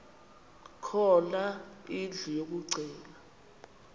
khona indlu yokagcina